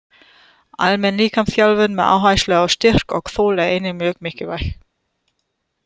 Almenn líkamsþjálfun með áherslu á styrk og þol er einnig mjög mikilvæg.